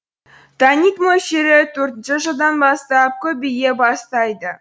таннид мөлшері төртінші жылдан бастап көбейе бастайды